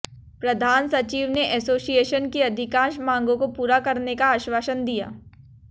प्रधान सचिव ने एसोसिएशन की अधिकांश मांगों को पूरा करने का आश्वासन दिया